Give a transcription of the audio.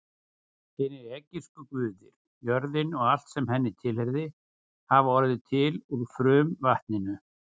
Hinir egypsku guðir, jörðin og allt sem henni tilheyrði, hafði orðið til úr frumvatninu.